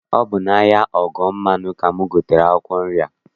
Ọ bụ n'ahịa ọgbọmmanụ ka m gotere akwụkwọ nri a.